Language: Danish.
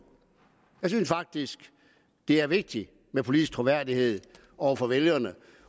jeg synes faktisk det er vigtigt med politisk troværdighed over for vælgerne